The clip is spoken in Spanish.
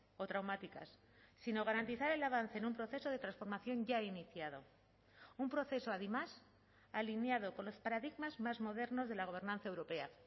o traumáticas sino garantizar el avance en un proceso de transformación ya iniciado un proceso además alineado con los paradigmas más modernos de la gobernanza europea